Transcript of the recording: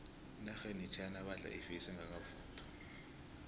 enarheni yechina badla ifesi engakavuthwa